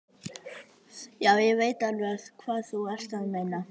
Já, ég veit alveg hvað þú ert að meina.